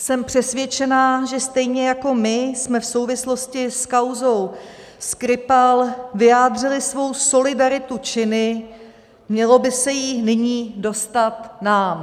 Jsem přesvědčená, že stejně jako my jsme v souvislosti s kauzou Skripal vyjádřili svou solidaritu činy, mělo by se jí nyní dostat nám.